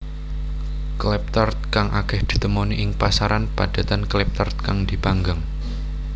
Klappertaart kang akeh ditemoni ing pasaran padatan klappertaart kang dipanggang